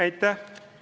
Aitäh!